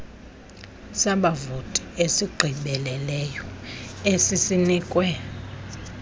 sabavoti esigqibeleleyo esisinikwe